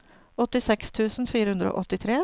åttiseks tusen fire hundre og åttitre